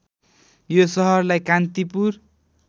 यो सहरलाई कान्तिपुर